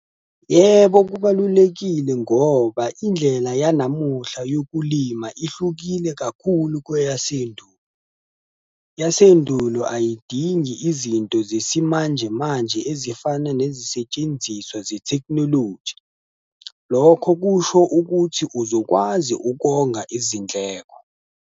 Yebo, kubalulekile ngoba indlela yanamuhla yokulima ihlukile kakhulu kweyasendulo. Eyasendulo ayidingi izinto zesimanjemanje ezifana nezisetshenziswa ze-technology. Lokho kusho ukuthi uzokwazi ukonga izindleko.